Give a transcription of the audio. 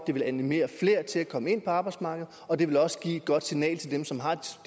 det vil animere flere til at komme ind på arbejdsmarkedet og det også vil give et godt signal til dem som har